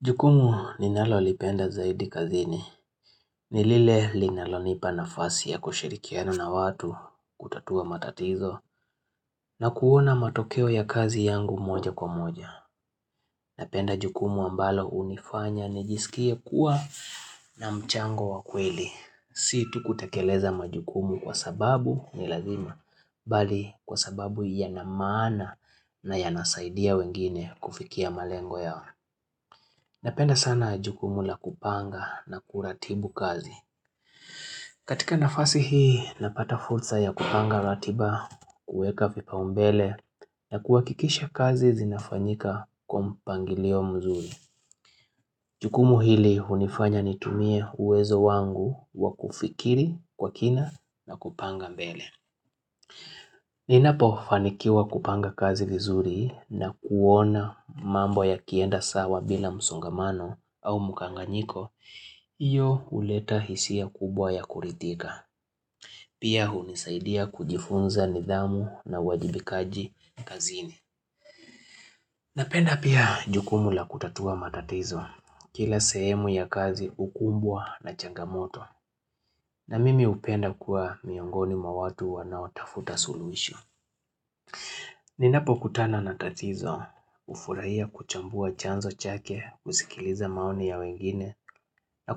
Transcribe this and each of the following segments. Jukumu ninalo lipenda zaidi kazini, nilile linalo nipa nafasi ya kushirikiana na watu kutatua matatizo na kuona matokeo ya kazi yangu moja kwa moja. Napenda jukumu ambalo unifanya nijisikie kuwa na mchango wakweli. Si tu kutakeleza majukumu kwa sababu ni lazima, bali kwa sababu yanamaana na yanasaidia wengine kufikia malengo yao. Napenda sana jukumu la kupanga na kuratibu kazi. Katika nafasi hii napata fursa ya kupanga ratiba kueka vipaumbele na kuwakikisha kazi zinafanyika kwa mpangilio mzuri. Jukumu hili unifanya nitumie uwezo wangu wa kufikiri kwa kina na kupanga mbele. Ninapo fanikiwa kupanga kazi vizuri na kuona mambo ya kienda sawa bila musongamano au mukanganiko, iyo uleta hisia kubwa ya kurithika. Pia hunisaidia kujifunza nidhamu na uwajibikaji kazini. Napenda pia jukumu la kutatua matatizo, kila sehemu ya kazi ukumbwa na changamoto, na mimi upenda kuwa miongoni mwa watu wanaotafuta suluishu. Ninapo kutana natatizo, ufurahia kuchambua chanzo chake, kusikiliza maoni ya wengine, na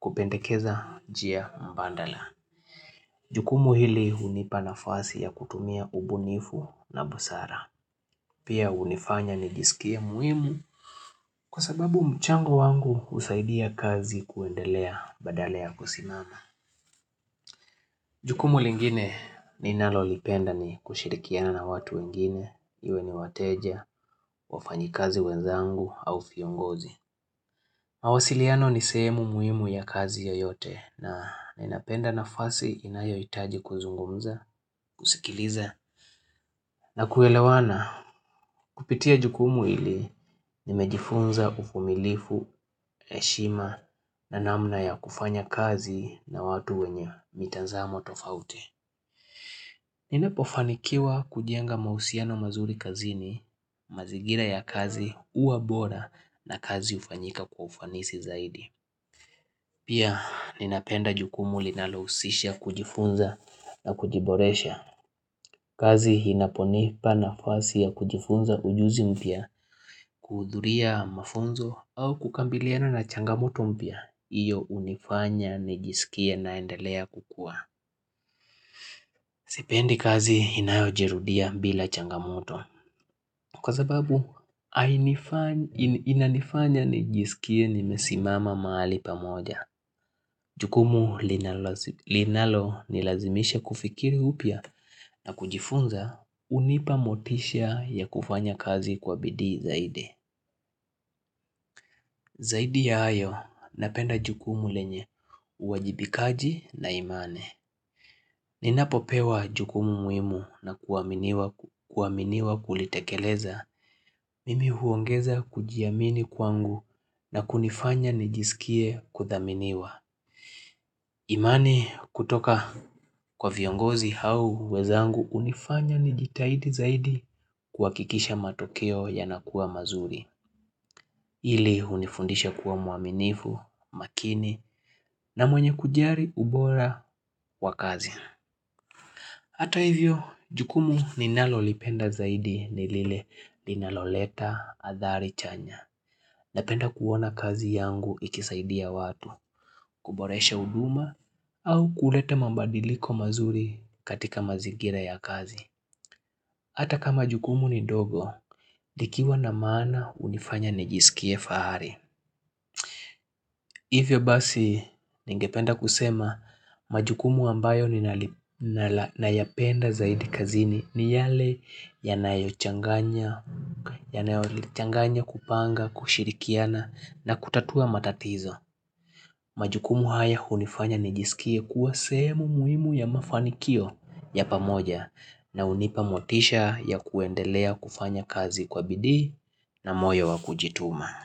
kupendekeza njia mbandala. Jukumu hili unipa nafasi ya kutumia ubunifu na busara. Pia unifanya nijisikie muhimu kwa sababu mchango wangu usaidia kazi kuendelea badalea kusimama. Jukumu lingine ninalo lipenda ni kushirikiana na watu wengine, iwe ni wateja, wafanyikazi wenzangu au viongozi. Mawasiliano ni seemu muhimu ya kazi yoyote na inapenda na fasi inayo itaji kuzungumza, kusikiliza na kuelewana kupitia jukumu ili nimejifunza ufumilifu, eshima na namna ya kufanya kazi na watu wenye mitazamo tofauti. Ninapofanikiwa kujenga mausiano mazuri kazini, mazigira ya kazi uwa bora na kazi ufanyika kwa ufanisi zaidi. Pia ninapenda jukumu linalo usisha kujifunza na kujiboresha kazi hinaponipa na fasi ya kujifunza ujuzi mpia kuudhuria mafunzo au kukambiliana na changamoto mpya Iyo unifanya nijisikia naendelea kukua Sipendi kazi inayo jirudia bila changamoto Kwa zababu inanifanya nijisikie nimesimama maali pamoja Jukumu linalo nilazimisha kufikiri upya na kujifunza unipa motisha ya kufanya kazi kwa bidii zaidi Zaidi ya ayo napenda jukumu lenye uajibikaji na imane Ninapopewa jukumu muimu na kuaminiwa kulitekeleza Mimi huongeza kujiamini kwangu na kunifanya nijisikie kuthaminiwa imani kutoka kwa viongozi hau wezangu unifanya ni jitahidi zaidi kuakikisha matokeo yanakuwa mazuri ili unifundisha kuwa muaminifu, makini na mwenye kujari ubora wa kazi Hata hivyo, jukumu ninalolipenda zaidi nilile linaloleta athari chanya Napenda kuwona kazi yangu ikisaidia watu, kuboresha uduma au kulete mabadiliko mazuri katika mazigira ya kazi. Ata kama jukumu ni dogo, likiwa na maana unifanya nijisikie fahari. Hivyo basi ningependa kusema majukumu ambayo nayapenda zaidi kazini ni yale yanayochanganya kupanga kushirikiana na kutatua matatizo. Majukumu haya unifanya nijisikie kuwa sehemu muhimu ya mafanikio ya pamoja na unipa motisha ya kuendelea kufanya kazi kwa bidi na moyo wakujituma.